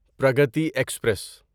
Pragati express